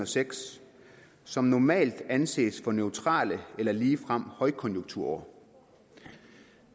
seks som normalt anses for neutrale eller ligefrem højkonjunkturår